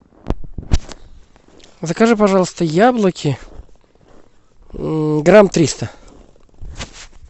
закажи пожалуйста яблоки грамм триста